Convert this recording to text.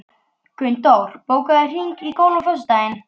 Gunndór, bókaðu hring í golf á föstudaginn.